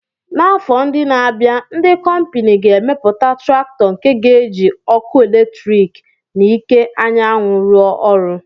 N'afọ ndị na-abịa, ndị kọmpini ga-emepụta traktọ nke ga-eji ọkụ eletrik na iké anyanwụ ruọ ọrụ